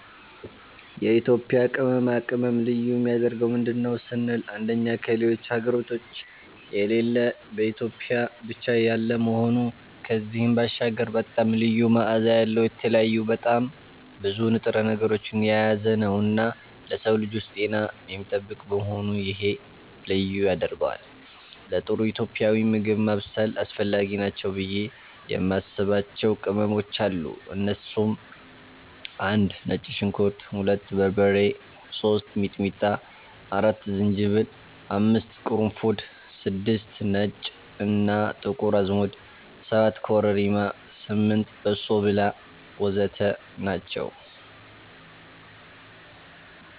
የኢትዮጵያ ቅመማ ቅመም ልዩ የሚያደርገው ምንድን ነው ስንል አንደኛ ከሌሎች ሀገራቶች የሌለ በኢትዮጵያ ብቻ ያለ መሆኑ ከዚህም ባሻገር በጣም ልዩ መዓዛ ያለዉ፣ የተለያዩ በጣም ብዙ ንጥረ ነገሮችን የያዘነዉና ለሰዉ ልጆች ጤናን የሚጠብቅ በመሆኑ ይሄ ልዩ ያደርገዋል። ለጥሩ ኢትዮጵያዊ ምግብ ማብሰል አስፈላጊ ናቸው ብዬ የማስባቸዉ ቅመሞች አሉ እነሱም፦ 1)ነጭ ሽንኩርት 2)በርበሬ 3)ሚጥሚጣ 4)ዝንጅብል 5)ቅርንፉድ 6)ነጭ እና ጥቁር አዝሙድ 7)ኮረሪማ 8)በሶብላ ወዘተ ናቸዉ።